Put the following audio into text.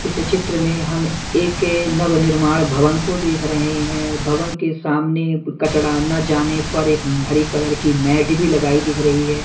इस चित्र में हम एक नव निर्माण भवन को देख रहे हैं भवन के सामने कचड़ा ना जाने पर एक हरी कलर की मैट भी लगाई दिख रही है।